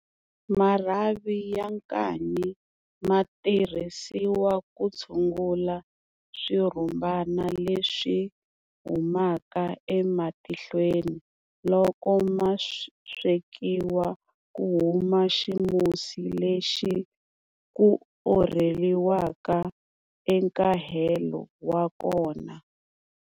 Marhavi ya nkanyi ma tirhisiwa ku tshungula swirhumbana leswi humaka ematihlweni. Loko ma swekiwa ku huma ximusi lexi ku orheliwaka nkahelo wa kona.